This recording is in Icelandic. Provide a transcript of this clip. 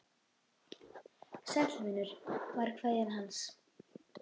Sæll vinur var kveðjan hans.